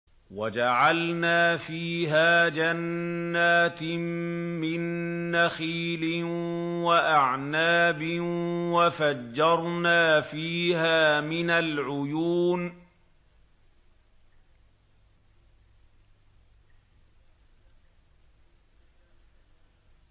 وَجَعَلْنَا فِيهَا جَنَّاتٍ مِّن نَّخِيلٍ وَأَعْنَابٍ وَفَجَّرْنَا فِيهَا مِنَ الْعُيُونِ